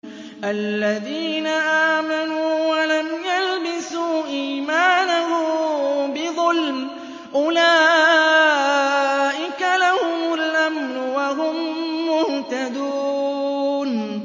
الَّذِينَ آمَنُوا وَلَمْ يَلْبِسُوا إِيمَانَهُم بِظُلْمٍ أُولَٰئِكَ لَهُمُ الْأَمْنُ وَهُم مُّهْتَدُونَ